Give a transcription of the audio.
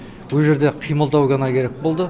ол жерде қимылдау ғана керек болды